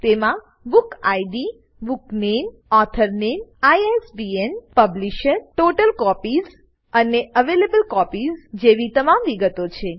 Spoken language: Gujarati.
તેમાં બુક ઇડ બુકનેમ ઓથોર નામે આઇએસબીએન પબ્લિશર ટોટલ કોપીઝ અને એવેલેબલ કોપીઝ જેવી તમામ વિગતો છે